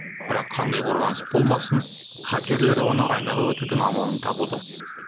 бірақ қандай қорғаныс болмасын хакерлер оны айналып өтудің амалын табуда